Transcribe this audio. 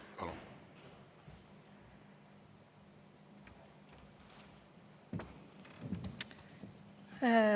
Palun!